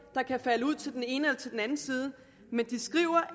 der kan falde ud til den ene eller til den anden side men de skriver